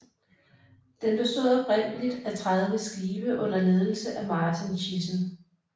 Den bestod oprindeligt af 30 skibe under ledelse af Marten Thijssen